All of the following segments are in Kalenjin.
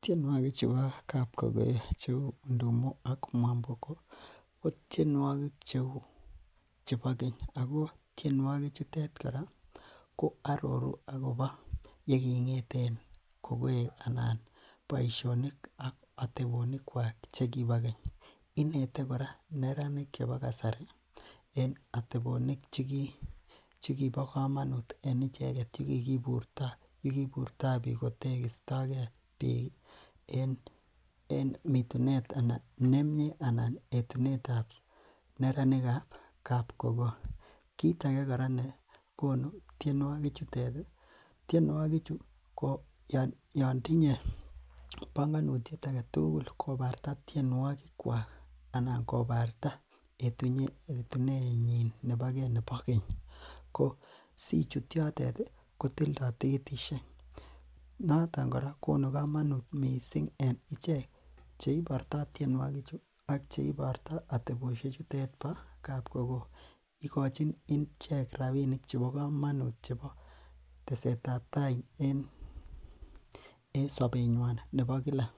Tienuokik chebo kap kokoyo che ndumo ak mwamboko ih ko tienuogig chebo keny, ako tienuogig chetet ko aroru akoba yeking'eten kokoeg anan boisionik ak atebonikuak chekibageny. Inete kora kora neranik chebo kasari atebonik chekibo komonuut en icheket yekikiburto yekiburto bik kotegitage en mitunet anan etunetab neranikab kap kokoeg. Kit age kora nekonu tienuokik chu ko Yoon tinye banganutiet kobarta tienuogig kuak ih anan kobarta etunenyin boge nebo keny ko sichuut yotet ih ko tilda tikitisiek noton kora konu kamanut missing en icheket cheibarta tienuogig ak cheiborta atebosiek chutet bo kap kokoeg. Ikochin ichek rabinik chebo kamanut chebo teksetab tai en sabenyuan nebo kila,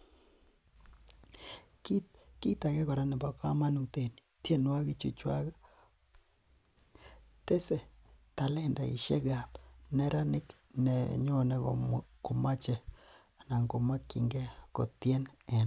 kit age kora nebo kamanut en tienuokik chu chuak ih tese talendaishekab neraniknenyone komache kotien en tai.